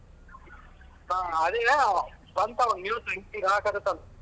ಹ ಅದೇನೋ ಬಂತವ news ..